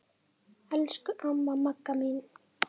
Elsku amma Magga mín.